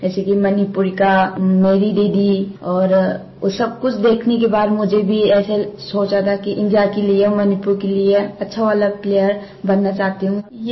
जैसे कि मणिपुर का मेरी दीदी और वो सब कुछ देखने के बाद मुझे भी ऐसे सोचा था कि इंडिया के लिए मणिपुर के लिए अच्छा वाला प्लेयर बनना चाहती हूँ